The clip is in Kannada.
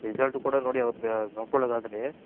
Result ಕೂಡ ನೋಡಿ ಅವರದು ನೋಡ್ಕೊಲ್ಲದ್ ಆದ್ರೆ.